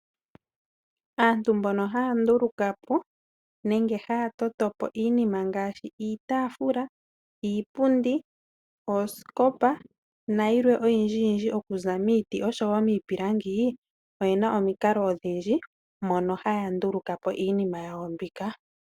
Aantu mbono haya ndulukapo nenge haya totopo iinima ngaashi, iitafula, iipundi, oosikopa nayilwe oyindjiyindji okuza miiti osho wo miipilangi, oyena omikalo odhindji mono haya nduluka po iinima yawo mbika.